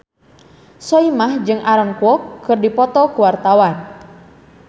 Soimah jeung Aaron Kwok keur dipoto ku wartawan